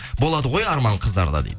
болады ғой арман қыздарда дейді